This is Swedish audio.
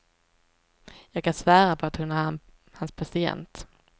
Jag kan svära på att hon är hans patient.